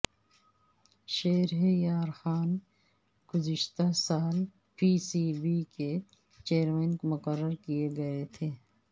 شہریارخان گزشتہ سال P C B کے چیئرمین مقرر کئے گئے تھے